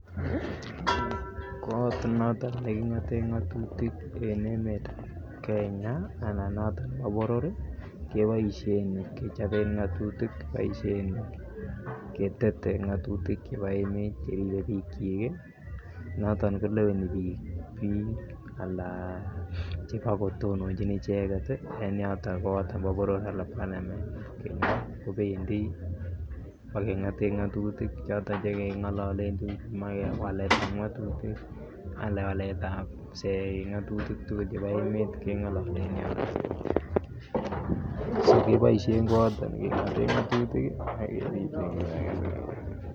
Koot noton nekingoten ngotutik en emetab Kenya anan noton nebo boror keboishen kechoben ngotutik, kiboishen ketete ngotutik chebo emet cheribe biikyik noton koleweni biik alaa chebo kotononchin icheket en yoton koot neboo boror anan parliament, kibendi bo kengoten ngotutik choton chengololen biik komoe waletab ngotutik alaa waletab ngalekab ngotutik chebo emet chebo ngotutik kengolole en yoton, so keboishen koyoton kewolen ngotutik.